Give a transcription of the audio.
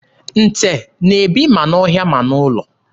Nte na-ebi ma n'ọhịa ma n'ụlọ.